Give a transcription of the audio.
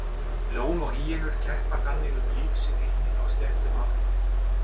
Ljón og hýenur keppa þannig um lífsrými á sléttum Afríku.